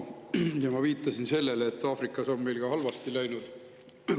Ma juba viitasin sellele, et Aafrikas on meil ka halvasti läinud.